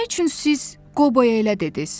Nə üçün siz Qoboya elə dediniz?